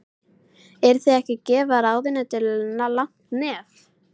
Eruð þið ekki að gefa ráðuneytinu langt nef?